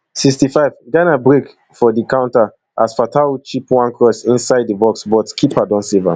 sixty-fiveghana break for di counter as fatawu chip one cross inside di box but keeper don save am